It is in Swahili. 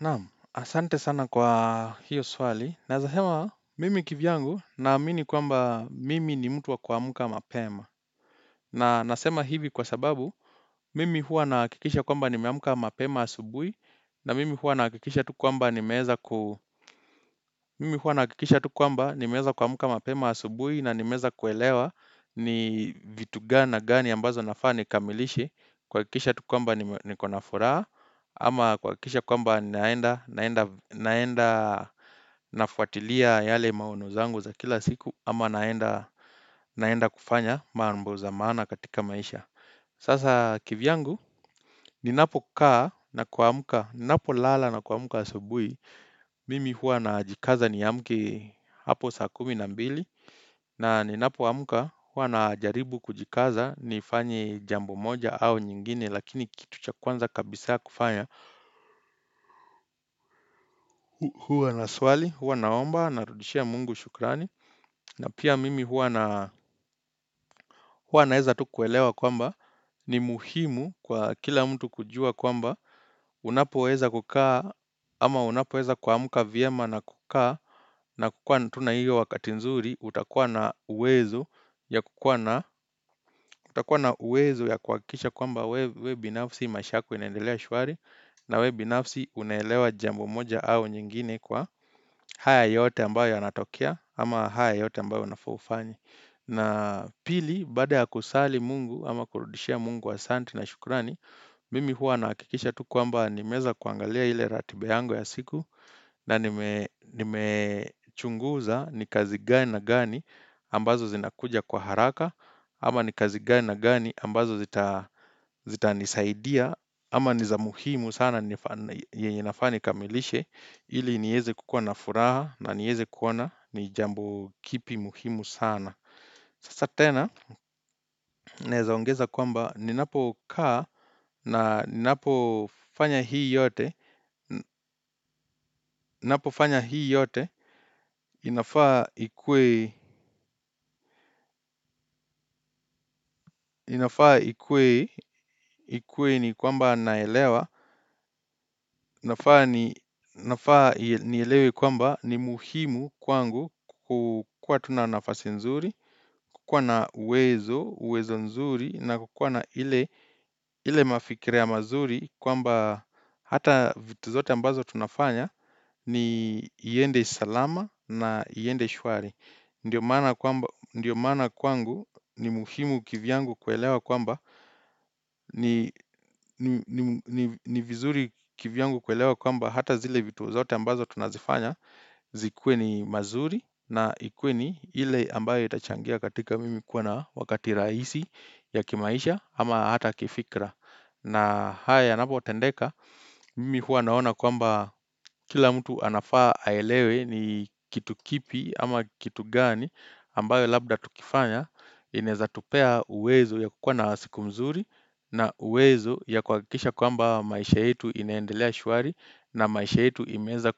Naam, asante sana kwa hiyo swali. Naweza sema, mimi kivyangu na amini kwamba mimi ni mtu wa kuamka mapema. Na nasema hivi kwa sababu, mimi huwa nahakikisha kwamba nimeamka mapema asubuhi, na mimi huwa nahakikisha tu kwamba nimeweza ku Mimi huwa nahakikisha tu kwamba nimeweza kuamka mapema asubuhi, na nimeweza kuelewa ni vitu gani na gani ambazo nafaa nikamilishe, kuhakikisha tu kwamba nikona furaha, ama kuhakikisha kwamba naenda naenda nafuatilia yale maono zangu za kila siku ama naenda naenda kufanya mambo za maana katika maisha Sasa kivyangu, ninapokaa na kuamka, ninapolala na kuamka asubuhi Mimi hua najikaza niamke hapo saa kumi na mbili. Na ninapoamka hua najaribu kujikaza nifanye jambo moja au nyingine lakini kitu cha kwanza kabisaa kufanya huwa naswali, huwa naomba, narudishia Mungu shukrani. Na pia mimi huwa naweza tu kuelewa kwamba ni muhimu kwa kila mtu kujua kwamba Unapoweza kukaa ama unapoweza kuamka vyema na kukaa na kukua tu na hio wakati nzuri, utakuwa na uwezo ya kukua na, utakua na uwezo ya kuhakikisha kwamba wewe binafsi maisha yako inendelea shwari na wewe binafsi unelewa jambo moja au nyingine kwa haya yote ambayo yanatokea ama haya yote ambayo unafaa ufanye na pili, baada ya kusali Mungu ama kurudishia Mungu asanti na shukurani, mimi hua nahakikisha tu kwamba nimeweza kuangalia ile ratiba yangu ya siku na nimechunguza ni kazi gani na gani ambazo zinakuja kwa haraka Ama ni kazi gani na gani ambazo zitanisaidia Ama niza muhimu sana yenye ninafaa nikamilishe ili niweze kukua na furaha na niweze kuona ni jambo kipi muhimu sana Sasa tena naweza ongeza kwamba ninapokaa na ninapofanya hii yote, Ninapofanya hii yote inafaa ikuwe ni kwamba naelewa inafaa nielewe kwamba ni muhimu kwangu kukua tu nanafasi nzuri, kukua na uwezo, uwezo nzuri na kukua na ile ile mafikira ya mazuri kwamba hata vitu zote ambazo tunafanya iende salama na iende shwari ndio maana kwangu ni muhimu kivyangu kuelewa kwamba ni vizuri kivyangu kuelewa kwamba hata zile vitu zote ambazo tunazifanya Zikuwe ni mazuri na ikuwe ni ile ambayo itachangia katika mimi kuwa na wakati rahisi ya kimaisha ama hata kifikra na haya yanapotendeka mimi hua naona kwamba kila mtu anafaa aelewe ni kitu kipi ama kitu gani ambayo labda tukifanya inaweza tupea uwezo ya kukua na siku mzuri na uwezo ya kuhakikisha kwamba maisha yetu ineendelea shwari na maisha yetu imeweza